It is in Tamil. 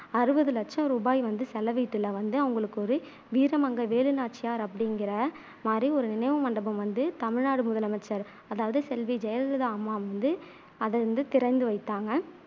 அறுபது லட்ச ரூபாய் வந்து செலவிட்டூல வந்து அவங்களுக்கு ஒரு வீர மங்கை வேலு நாச்சியார் அப்படிங்குற மாதிரி ஒரு நினைவு மண்டபம் வந்து தமிழ்நாடு முதலமைச்சர் அதாவது செல்வி ஜெ ஜெயலலிதா அம்மா வந்து அதை வந்து திறந்து வைத்தாங்க